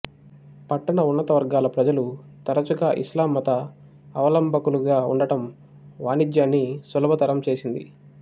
పట్టణ ఉన్నత వర్గాల ప్రజలు తరచుగా ఇస్లాం మతావలంబకులుగా ఉండడం వాణిజ్యాన్ని సులభతరం చేసింది